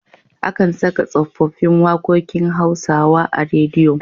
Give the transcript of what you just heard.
Akan saka tsofaffin waƙokin Hausawa a rediyo.